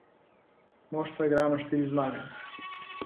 Moštva igrajo na štiri zmage.